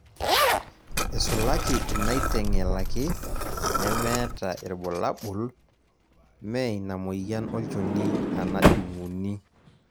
Isulaki inaiteng'elaki(nemeeta irbulabol)mme ina moyian olnchoni ana jung'uni